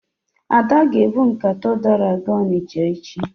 Ada ga-ebu nkata ụdara gaa Ọnịcha echi.